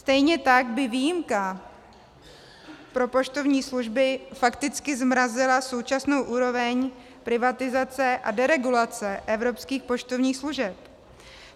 Stejně tak by výjimka pro poštovní služby fakticky zmrazila současnou úroveň privatizace a deregulace evropských poštovních služeb.